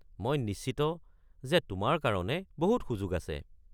মই নিশ্চিত যে তোমাৰ কাৰণে বহুত সুযোগ আছে।